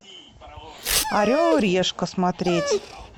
орел и решка смотреть